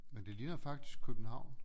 Men det ligner faktisk København